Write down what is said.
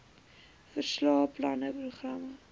verslae planne programme